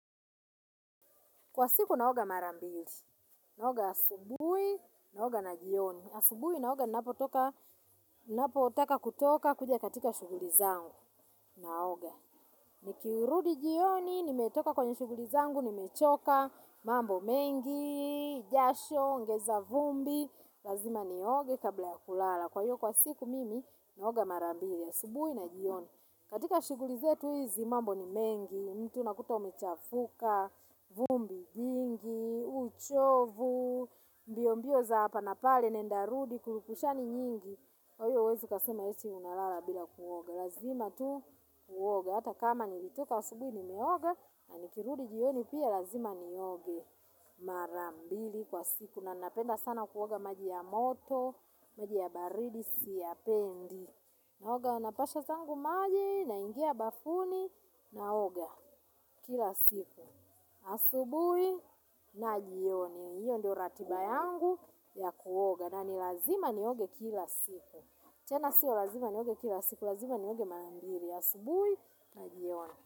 Kwa siku naoga marambili, naoga asubui, naoga na jioni. Asubuhi naoga ninapotoka, napotaka kutoka kuja katika shuguli zangu, naoga. Nikirudi jioni, nimetoka kwenye shuguli zangu, nimechoka, mambo mengi, jasho, ngeza vumbi, lazima ni oge kabla ya kulala. Kwa hiyo kwa siku mimi, naoga marambili, asubui na jioni. Katika shuguli zetu hizi mambo ni mengi, mtu nakuta umechafuka, vumbi jingi, uchovu, mbio mbio za hapa napale, nendarudi, kurupushani nyingi. Kwahio huwezi ukasema yesi unalala bila kuoga. Lazima tu kuoga. Hata kama nilitoka asubui nimeoga, na nikirudi jioni pia lazima ni oge. Marambili kwa siku. Na napenda sana kuoga maji ya moto, maji ya baridi, siyapendi. Naoga anapasha zangu maji naingia bafuni naoga kila siku. Asubui na jioni. Iyo ndio ratiba yangu ya kuoga na nilazima nioge kila siku. Tena siyo lazima nioge kila siku, lazima nioge mara mbili. Asubui na jioni.